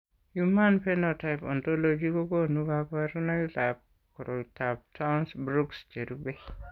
Human Phenotype Ontology kokonu kabarunoikab koriotoab Townes Brocks cherube.